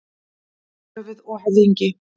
Höfuð og höfðingi.